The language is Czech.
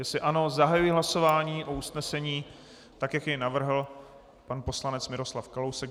Jestli ano, zahajuji hlasování o usnesení tak, jak jej navrhl pan poslanec Miroslav Kalousek.